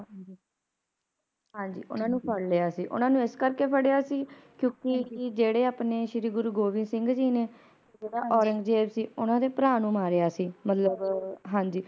ਹਾਂਜੀ ਓਹਨਾ ਨੂੰ ਫੜ ਲਿਆ ਸੀ ਓਹਨਾ ਨੂੰ ਇਸ ਕਰਕੇ ਫੜਿਆ ਸੀ ਕਿਉਕਿ ਜਿਹੜੇ ਆਪਣੇ ਸ਼੍ਰੀ ਗੁਰੂ ਗੋਬਿੰਦ ਸਿੰਘ ਜੀ ਨੇ ਜਿਹੜਾ ਔਰੰਗਜੇਬ ਸੀ ਓਹਨਾ ਦੇ ਭਰਾ ਨੂੰ ਮਾਰਿਆ ਸੀ ਮਤਲਬ ਹਾਂਜੀ